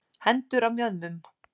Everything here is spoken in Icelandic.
Hendur á mjöðmum.